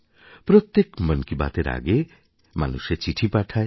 প্রত্যেক মন কি বাতের আগে মানুষে চিঠি পাঠায়